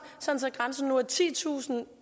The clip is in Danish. sådan at grænsen nu er titusind